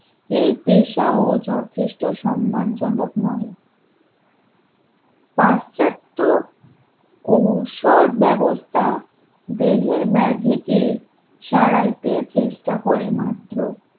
এই পেশা ও যথেষ্ট সম্মানজনক নয় পাশ্চাত্য ঔষধ ব্যবস্থা দেহের ম্যাজিকে সারাইতে চেষ্টা করে মাত্র